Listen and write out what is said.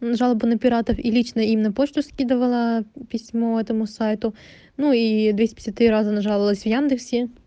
мм жалобы на пиратов и личное и на почту скидывала письмо этому сайту ну и двести пятьдесят три раза нажаловалась в яндексе